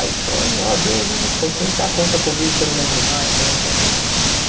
Aí, pô, ó Deus onipotente, ah, conta comigo que eu não lembro mais, tal, tal, tal, tal tal tal.